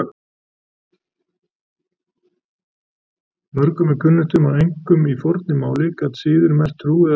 Mörgum er kunnugt um að einkum í fornu máli gat siður merkt trú eða trúarbrögð.